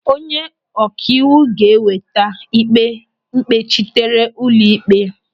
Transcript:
Onye ọkaiwu ga-eweta ịkpe mkpechitere n'ụlọ ịkpe.